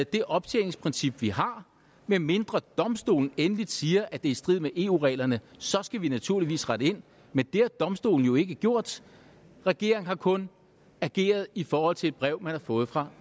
det optjeningsprincip vi har medmindre domstolen endeligt siger at det er i strid med eu reglerne så skal vi naturligvis rette ind men det har domstolen jo ikke gjort regeringen har kun ageret i forhold til et brev man har fået fra